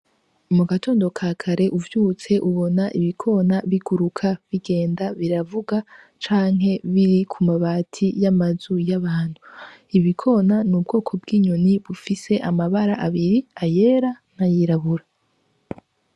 Mu gatondo ka kare uvyutse ubona ibikona biguruka bigenda biravuga canke biri ku mabati y’amazu y’abantu. Ibikona n’ubwoko bw’inyoni bufise amabara abiri, ayera n’ayirabura.